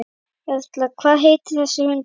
Erla: Hvað heitir þessi hundur?